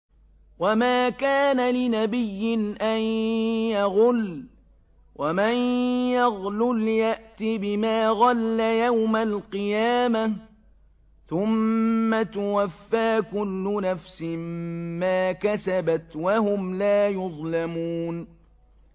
وَمَا كَانَ لِنَبِيٍّ أَن يَغُلَّ ۚ وَمَن يَغْلُلْ يَأْتِ بِمَا غَلَّ يَوْمَ الْقِيَامَةِ ۚ ثُمَّ تُوَفَّىٰ كُلُّ نَفْسٍ مَّا كَسَبَتْ وَهُمْ لَا يُظْلَمُونَ